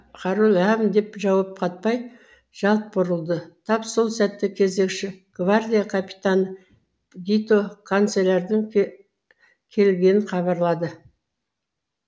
король ләм деп жауап қатпай жалт бұрылды тап сол сәтте кезекші гвардия капитаны гито канцлердің келгенін хабарлады